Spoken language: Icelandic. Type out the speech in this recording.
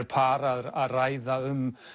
par að ræða um